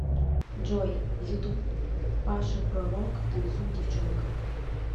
джой ютуб паша пророк танцуй девчонка